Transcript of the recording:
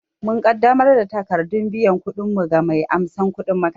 Mun ƙaddamar da takardar biyan kuɗinmu ga mai amsan kudin makaranta